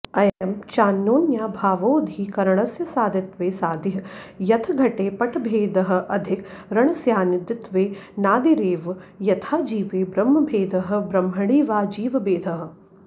अयं चान्योन्याभावोऽधिकरणस्य सादित्वे सादिः यथ घटे पटभेदः अधिकरणस्यानादित्वेऽनादिरेव यथा जीवे ब्रह्मभेदः ब्रह्मणि वा जीवभेदः